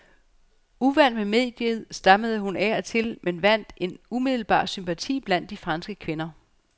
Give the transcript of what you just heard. Uvant med mediet, stammede hun af og til men vandt en umiddelbar sympati blandt de franske kvinder.